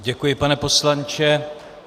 Děkuji, pane poslanče.